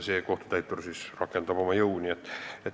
Ja kohtutäitur siis rakendab oma jõudu.